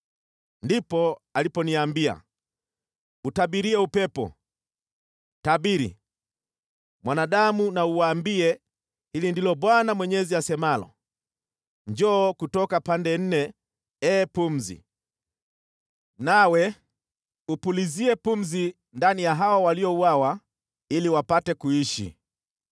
Ndipo aliponiambia, “Utabirie upepo, tabiri, mwanadamu na uuambie, ‘Hili ndilo Bwana Mwenyezi asemalo: Njoo kutoka pande nne, ee pumzi, nawe upulizie pumzi ndani ya hawa waliouawa, ili wapate kuishi.’ ”